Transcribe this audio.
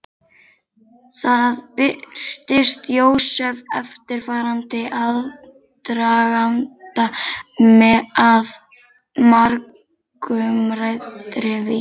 Þar birtir Jósef eftirfarandi aðdraganda að margumræddri vísu.